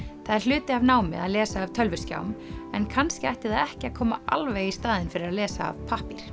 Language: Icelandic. það er hluti af námi að lesa af tölvuskjám en kannski ætti það ekki að koma alveg í staðinn fyrir að lesa af pappír